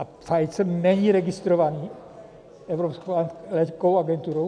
A Pfizer není registrován Evropskou lékovou agenturou?